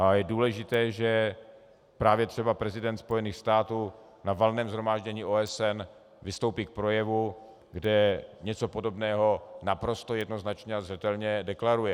A je důležité, že právě třeba prezident Spojených států na Valném shromáždění OSN vystoupí v projevu, kde něco podobného naprosto jednoznačně a zřetelně deklaruje.